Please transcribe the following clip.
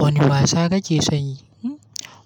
Wane wasa kake son yi?